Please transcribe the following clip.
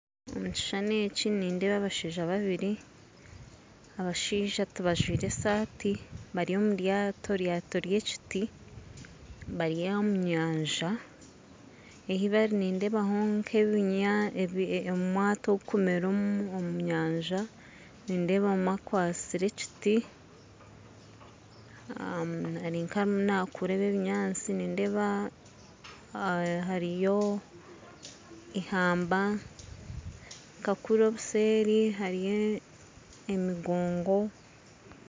Omu kishushani eki nindeeba abashaija babiri abashaija tibajwaire esaati bari omuryato eryato ry'ekiti bari omu nyanza ahu bari nindeebaho nk'omwata ogurikumera omu nyaja nindeeba omwe akwatsire ekiti ari nkarimu naakura ebinyaatsi nindeeba hariho eihamba nka kuri obuseeri hariyo emigongo